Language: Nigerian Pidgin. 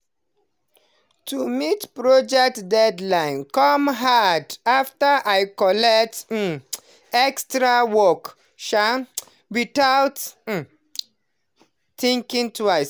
to meet project deadline come hard after i collect um extra work um without um thinking twice.